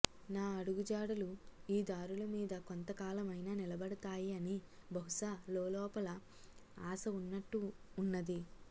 నా అడుగు జాడలు ఈ దారుల మీద కొంతకాలమైనా నిలబడతాయి అని బహుశా లోలోపల ఆశ ఉన్నట్టు ఉన్నది